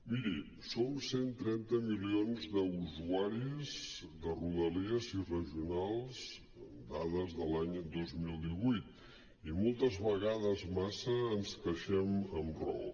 miri som cent i trenta milions d’usuaris de rodalies i regionals amb dades de l’any dos mil divuit i moltes vegades massa ens queixem amb raó